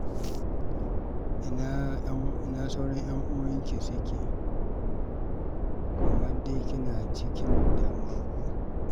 Ina sauran ƴan'uwanki suke kamar dai kina cikin damuwa ko?